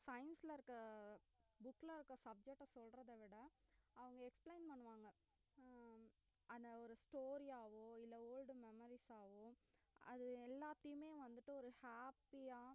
science ல இருக்க book ல இருக்க subject அ சொல்லறதை விட அவுங்க explain பண்ணுவாங்க அஹ் அத ஒரு story ஆவோ old memories ஆவோ அது எல்லாத்தையுமே வந்துட்டு ஒரு happy அ